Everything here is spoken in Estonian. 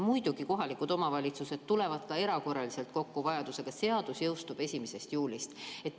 Muidugi, kohalikud omavalitsused tulevad vajaduse korral ka erakorraliselt kokku, aga seadus jõustub 1. juulist.